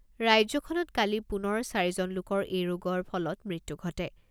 ৰাজ্যখনত কালি পুনৰ চাৰি জন লোকৰ এই ৰোগৰ ফলত মৃত্যু ঘটে।